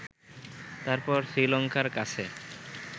তারপর শ্রীলঙ্কার কাছে